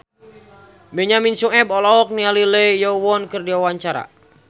Benyamin Sueb olohok ningali Lee Yo Won keur diwawancara